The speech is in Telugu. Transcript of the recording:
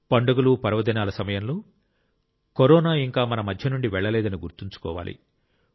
పండుగలు పర్వదినాల సమయంలో కరోనా ఇంకా మన మధ్య నుండి వెళ్లలేదని గుర్తుంచుకోవాలి